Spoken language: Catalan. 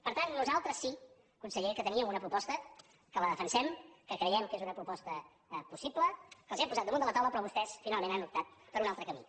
per tant nosaltres sí conseller que teníem una proposta que la defensem que creiem que és una proposta possible que els l’hem posat damunt de la taula però vostès finalment han optat per un altre camí